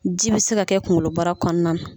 Ji bi se ka kɛ kunkolobara kɔnɔna na